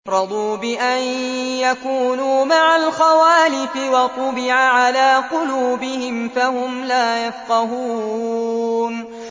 رَضُوا بِأَن يَكُونُوا مَعَ الْخَوَالِفِ وَطُبِعَ عَلَىٰ قُلُوبِهِمْ فَهُمْ لَا يَفْقَهُونَ